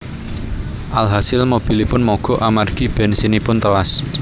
Alhasil mobilipun mogok amargi bènsinipun telas